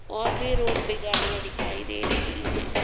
और भी रोड पे गाड़ियां दिखाई दे रही हैं।